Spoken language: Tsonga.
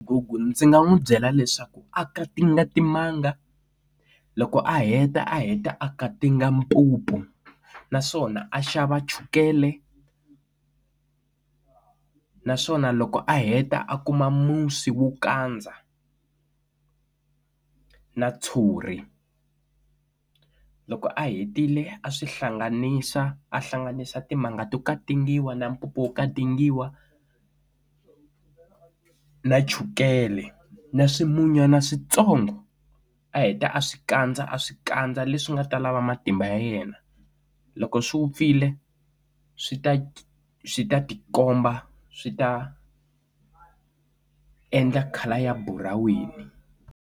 Google ndzi nga n'wi byela leswaku akatinga timanga loko a heta a heta akatinga mpupu naswona a xava chukele naswona loko a heta a kuma musi wo kandza na tshuri loko a hetile a swi hlanganisa a hlanganisa timanga to katingiwa na mpupu yo katingiwa na chukele na swimunywana switsongo a heta a swi kandza a swi kandza leswi nga ta lava matimba ya yena loko swi wupfile swi ta swi ta tikomba swi ta endla khala ya buraweni.